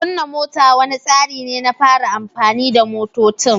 Kunna mota wani tsari ne na fara amfani da motocin.